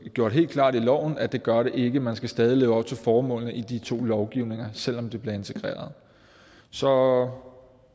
gjort helt klart i loven at det gør det ikke man skal stadig leve op til formålene i de to lovgivninger selv om de bliver integreret så